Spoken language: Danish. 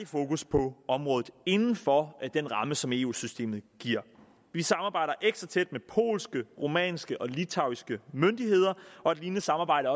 fokus på området inden for den ramme som eu systemet giver vi samarbejder ekstra tæt med polske rumænske og litauiske myndigheder og et lignende samarbejde